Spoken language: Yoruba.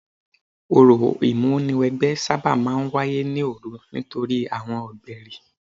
Orò ìmúniwẹgbẹ́ sábà máa ń wáyé ní òru nítorí àwọn ọ̀gbẹ̀rì.